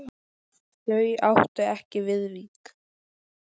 Þau áttu ekki Viðvík.